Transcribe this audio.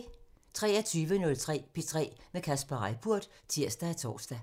23:03: P3 med Kasper Reippurt (tir og tor)